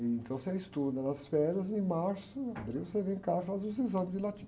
Então você estuda nas férias, em março, abril, você vem cá e faz os exames de latim.